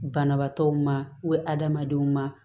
Banabaatɔw ma adamadenw ma